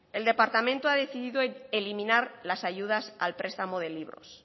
el departamento ha decidido eliminar las ayudas al prestamo de libros